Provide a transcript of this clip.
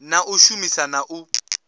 na u shumisa na u